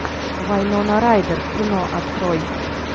вайнона райдер кино открой